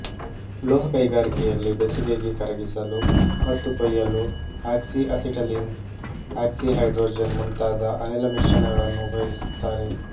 ಲೋಹ ಕೈಗಾರಿಕೆಯಲ್ಲಿ ಬೆಸುಗೆಗೆ ಕರಗಿಸಲು ಮತ್ತು ಕೊಯ್ಯಲು ಆಕ್ಸಿಅಸಿಟಲೀನ್ ಆಕ್ಸಿಹೈಡ್ರೋಜನ್ ಮುಂತಾದ ಅನಿಲ ಮಿಶ್ರಣಗಳನ್ನು ಉಪಯೋಗಿಸುತ್ತಾರೆ